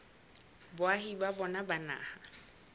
boahi ba bona ba naha